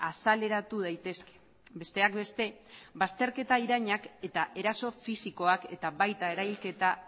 azaleratu daitezke besteak beste bazterketa irainak eta eraso fisikoak eta baita erailketa